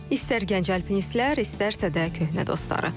İstər gənc alpinistlər, istərsə də köhnə dostları.